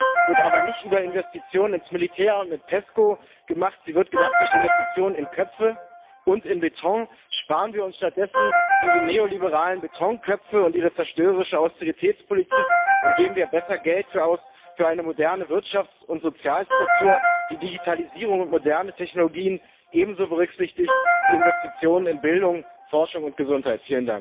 Zukunft wird aber nicht über Investitionen ins Militär und mit PESCO gemacht, sie wird gemacht durch Investitionen in Köpfe und in Beton. Sparen wir uns stattdessen diese neoliberalen Betonköpfe und ihre zerstörerische Austeritätspolitik und geben wir besser Geld aus für eine moderne Wirtschafts und Sozialstruktur, die Digitalisierung und moderne Technologien ebenso berücksichtigt wie Investitionen in Bildung, Forschung und Gesundheit!